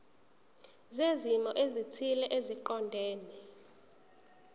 zezimo ezithile eziqondene